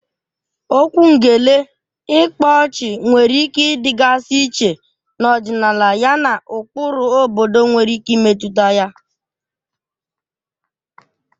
Okwu ngele/ịkpa ọchị nwere ike ịdịgasị iche n'ọdịnala yana ụkpụrụ obodo nwere ike imetụta ya.